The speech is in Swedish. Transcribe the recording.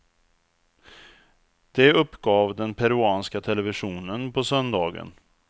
Det uppgav den peruanska televisionen på söndagen.